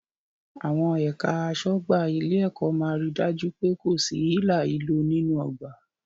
Àwọn ẹ̀ka aṣọ́ ọgbà ilé-ẹ̀kọ́ máa ri dájú pé kò sí hílàhílo nínú ọgbà.